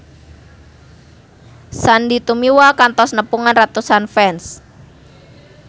Sandy Tumiwa kantos nepungan ratusan fans